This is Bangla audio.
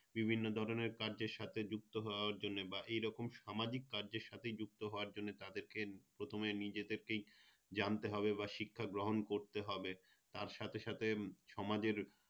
বিভিন্ন ধরণের কাজের সাথে যুক্ত হওয়ার জন্যে বা এইরকম সামাজিক কাজের সাথে যুক্ত হওয়ার জন্যে তাদেরকে প্রথমে নিজেদেরকেই জানতে হবে বা শিক্ষা গ্রহণ করতে হবে তার সাথে সাথে সমাজের